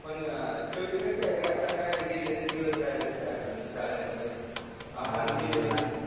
पण शेवटी कस आहे रे आता गेले ते दिवस राहिल्या त्या आठवणी शाळेमध्ये आपण केलेली